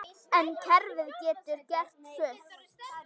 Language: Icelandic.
En kerfið getur gert fullt.